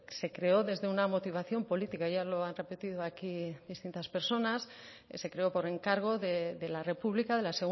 se creó desde una motivación política ya lo han repetido aquí distintas personas se creó por encargo de la república de la